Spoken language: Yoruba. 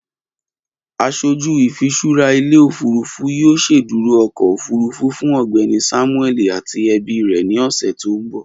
Aṣoju ifiṣura ile-ofurufu yoo ṣeduro ọkọ ofurufu. Fun Ọgbẹni Samueli ati ẹbi rẹ ni ọsẹ to nbọ.